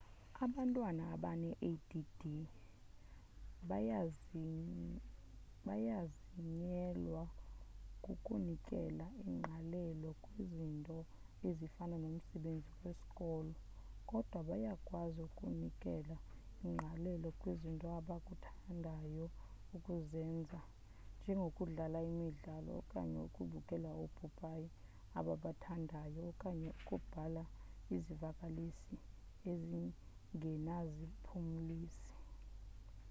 abantwana abane-add bayanzinyelwa kukunikela ingqalelo kwizinto ezifana nomsebenzi wesikolo kodwa bayakwazi ukunikela ingqalelo kwizinto abakuthandayo ukuzenza njengokudlala imidlalo okanye ukubukela oopopayi ababathandayo okanye ukubhala izivakalisi ezingenaziphumlisi